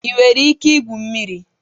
Ị nwere ike igwu mmiri?